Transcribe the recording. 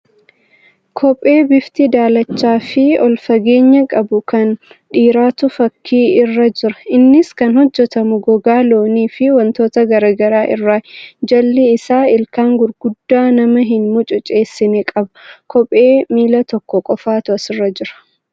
Kophee bifti daalacha fi ol fageenya qabu kan dhiiraatu fakkii irra jira. Innis kan hojjatamu gogaa loonii fi wantoota gargaraa irraayi. Jalli isaa ilkaan gurguddaa nama hin mucuceessina qaba. Kophee miila tokko qofatu asirra jira.